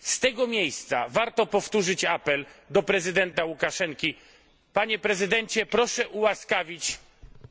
Z tego miejsca warto powtórzyć apel do prezydenta Łukaszenki Panie Prezydencie, proszę ułaskawić